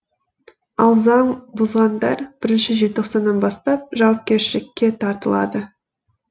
ал заң бұзғандар бірінші желтоқсаннан бастап жауапкершілікке тартылады